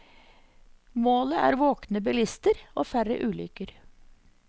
Målet er våkne bilister og færre ulykker.